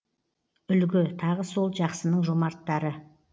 үлгі тағы сол жақсының жомарттары